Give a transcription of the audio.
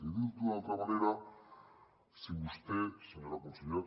i dit d’una altra manera si vostè senyora consellera